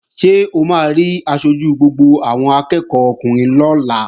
Ṣé o máa rí aṣojú gbogbo àwọn akẹ́ẹ̀kọ́ ọkùnrin lọ́la?